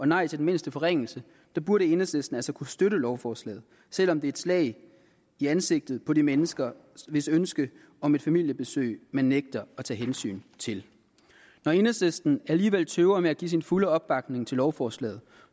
nej til den mindste forringelse burde enhedslisten altså kunne støtte lovforslaget selv om det er et slag i ansigtet på de mennesker hvis ønske om et familiebesøg man nægter at tage hensyn til når enhedslisten alligevel tøver med at give sin fulde opbakning til lovforslaget